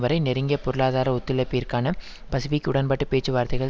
வரை நெருங்கிய பொருளாதார ஒத்துழைப்பிற்கான பசுபிக் உடன்பாட்டு பேச்சுவார்த்தைகள்